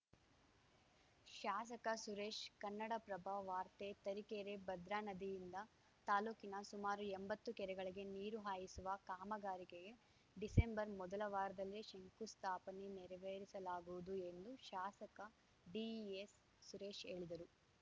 ಶಾಸಕ ಸುರೇಶ್‌ ಕನ್ನಡಪ್ರಭ ವಾರ್ತೆ ತರೀಕೆರೆ ಭದ್ರಾ ನದಿಯಿಂದ ತಾಲೂಕಿನ ಸುಮಾರು ಎಂಬತ್ತು ಕೆರೆಗಳಿಗೆ ನೀರು ಹಾಯಿಸುವ ಕಾಮಗಾರಿಗೆ ಡಿಸೆಂಬರ್ ಮೊದಲ ವಾರದಲ್ಲೇ ಶಂಕುಸ್ಥಾಪನೆ ನೆರವೇರಿಸಲಾಗುವುದು ಎಂದು ಶಾಸಕ ಡಿಎಸ್‌ ಸುರೇಶ್‌ ಹೇಳಿದರು